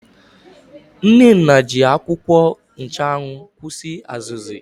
Nnenna ji akwụkwọ nchụanwụ kwụsị azụzụ.